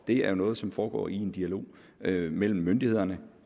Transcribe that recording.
det er noget som foregår i en dialog mellem myndighederne